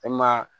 E maa